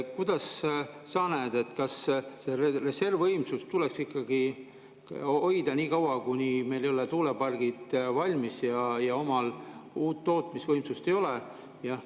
Kuidas sa näed, kas seda reservvõimsust tuleks ikkagi hoida nii kaua, kuni meil ei ole tuulepargid valmis ja omal uut tootmisvõimsust ei ole?